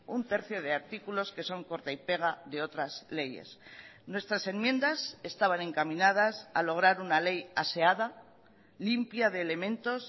un tercio de artículos que son corta y pega de otras leyes nuestras enmiendas estaban encaminadas a lograr una ley aseada limpia de elementos